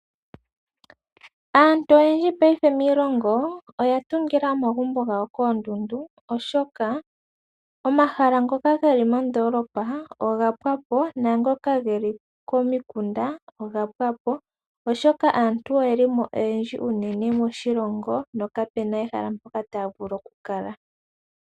Aantu oyendji miilongo oya tungila omagumbo gawo koondundu, oshoka omahala ngoka geli moondoolopa oga pwapo naangoka geli komikunda oshoka aantu oyeli mo oyendji moshilongo nokapena mpo taya zi.